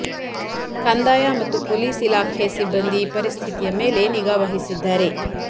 ಕಂದಾಯ ಮತ್ತು ಪೊಲೀಸ್ ಇಲಾಖೆ ಸಿಬ್ಬಂದಿ ಪರಿಸ್ಥಿತಿಯ ಮೇಲೆ ನಿಗಾ ವಹಿಸಿದ್ದಾರೆ